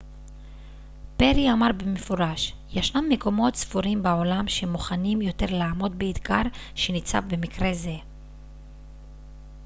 פרי אמר במפורש ישנם מקומות ספורים בעולם שמוכנים יותר לעמוד באתגר שניצב במקרה זה